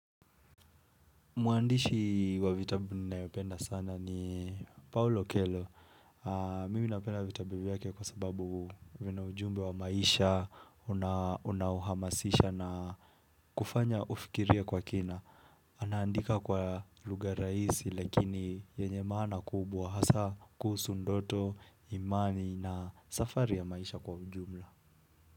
Mwandishi wa vitabi ninayopenda sana ni Paolo Kelo. Mimi napenda vitabu vyake kwa sababu vina ujumbe wa maisha, unauhamasisha na kufanya ufikirie kwa kina. Anaandika kwa lugha raisi, lakini yenye maana kubwa. Hasa kuhusu ndoto, imani na safari ya maisha kwa ujumla.